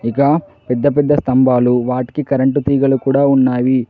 ఇక పెద్ద పెద్ద స్తంభాలు వాటికి కరెంటు తీగలు కూడా ఉన్నాయి.